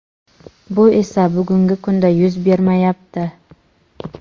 bu esa bugungi kunda yuz bermayapti.